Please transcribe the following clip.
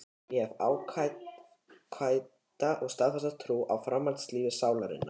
Ég hef ágæta og staðfasta trú á framhaldslífi sálarinnar.